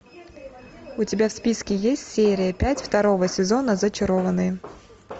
у тебя в списке есть серия пять второго сезона зачарованные